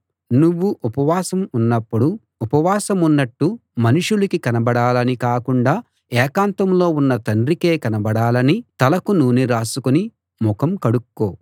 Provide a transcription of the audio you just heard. నువ్వు ఉపవాసం ఉన్నపుడు ఉపవాసమున్నట్టు మనుషులకి కనబడాలని కాకుండా ఏకాంతంలో ఉన్న తండ్రికే కనబడాలని తలకు నూనె రాసుకుని ముఖం కడుక్కో